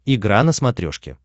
игра на смотрешке